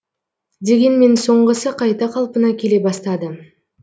дегенмен соңғысы қайта қалпына келе бастады